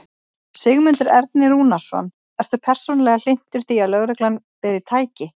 Sigmundur Ernir Rúnarsson: Ertu persónulega hlynntur því að lögreglan beri. tæki?